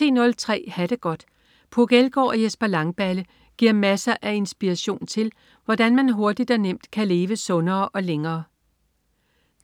10.03 Ha' det godt. Puk Elgård og Jesper Langballe giver masser af inspiration til, hvordan man hurtigt og nemt kan leve sundere og længere